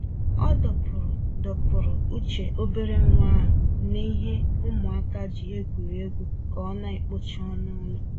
Ọ dọpụrụ dọpụrụ uche obere nwa ahụ n'he ụmụaka ji egwuri egwu ka ọ na-ekpocha ọnụ ụlọ.